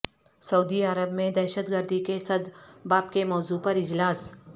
سعودی عرب میں دہشت گردی کے سد باب کے موضوع پر اجلاس